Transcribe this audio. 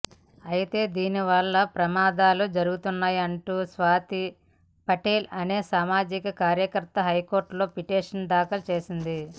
అయితే దీనివల్ల ప్రమాదాలు జరుగుతున్నాయంటూ స్వాతి పటేల్ అనే సామాజిక కార్యకర్త హైకోర్టులో పిటిషన్ దాఖలు చేసింది